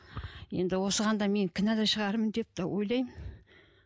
енді осыған да мен кінәлі шығармын деп те ойлаймын